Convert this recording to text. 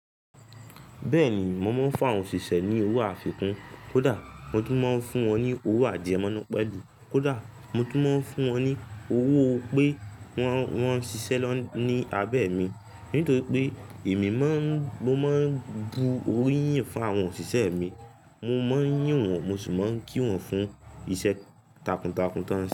Bẹ́ẹ̀ni, mo máa ń fún àwọn òṣìṣẹ́ ní owó àfikún, kódà mo tún máa ń fún wọn ní owó àjẹ̀ mọ́núpe, kódà mo tún máa ń fún wọn ní owó pé wọ́n, wọ́n ṣiṣẹ́ ní abẹ́ mi. Nítorí pé èmi máa ń, mo máa ń bu oríyìn fún àwọn òṣìṣẹ́ mi. Mo máa ń yín wọn, mo sì máa ń kí wọn fún iṣẹ́ takuntakun tó ń ṣe.